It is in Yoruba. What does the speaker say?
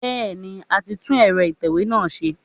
Bẹ́ẹ̀ni, a ti tú ẹ̀rọ ìtẹ̀wé náà ṣe.